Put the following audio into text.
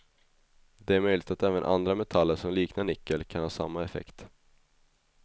Det är möjligt att även andra metaller som liknar nickel kan ha samma effekt.